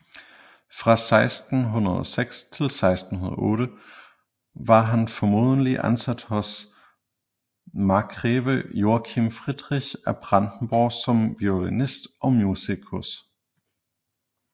Fra 1606 til 1608 var han formodentlig ansat hos markgreve Joachim Friedrich af Brandenborg som violinist og musikus